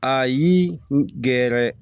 Ayi n gɛrɛ